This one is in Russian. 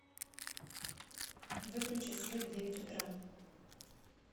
выключи свет в девять утра